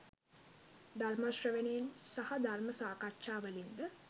ධර්ම ශ්‍රවණයෙන් සහ ධර්ම සාකච්ඡාවලින් ද